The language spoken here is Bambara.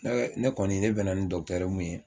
Ɛ ne kɔni ne bɛna ni mun ye